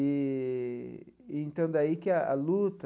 Eee e então, daí que a luta...